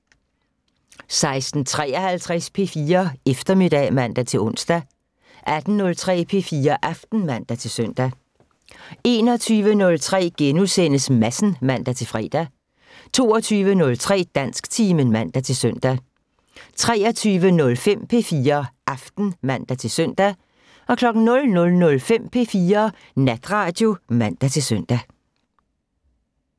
16:53: P4 Eftermiddag (man-ons) 18:03: P4 Aften (man-søn) 21:03: Madsen *(man-fre) 22:03: Dansktimen (man-søn) 23:05: P4 Aften (man-søn) 00:05: P4 Natradio (man-søn)